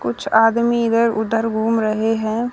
कुछ आदमी इधर उधर घूम रहे हैं।